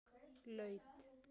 Laut